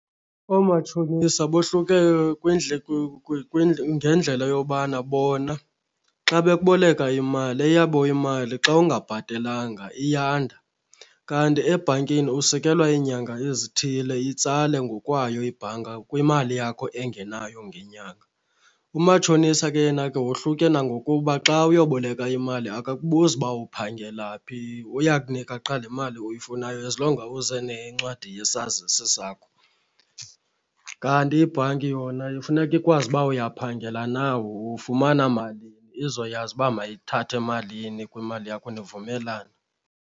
Omatshonisa bohluke ngendlela yobana bona xa bekuboleka imali eyabo imali xa ungabhatelanga iyanda. Kanti ebhankini usikelwa iinyanga ezithile itsale ngokwayo ibhanka kwimali yakho engenayo ngenyanga. Umatshonisa ke yena ke wohluke nangokuba xa uyoboleka imali akakubuzi uba uphangela phi uya kunika qha le mali uyifunayo as long uze nencwadi yesazisi sakho. Kanti ibhanki yona funeka ikwazi uba uyaphangela na, ufumana malini izoyazi uba mayithathe malini kwimali yakho nivumelane.